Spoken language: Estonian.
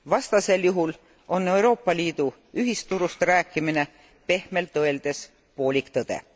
Vastasel juhul on Euroopa Liidu ühisturust rääkimine pehmelt öeldes poolik tõde.